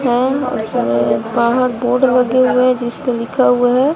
और इस बाहर बोर्ड लगे हुए हैं जिस पे लिखा हुआ है।